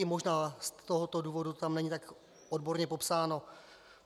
I možná z tohoto důvodu tam nejsou tak odborně popsány.